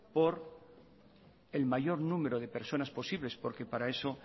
por el mayor número de personas posibles porque para eso